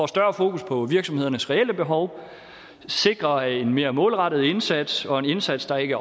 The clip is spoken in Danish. større fokus på virksomhedernes reelle behov sikrer en mere målrettet indsats og en indsats der ikke